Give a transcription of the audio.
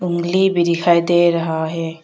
उंगली भी दिखाई दे रहा है।